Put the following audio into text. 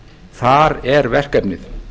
þar er verkefnið